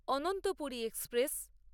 Ananthapuri express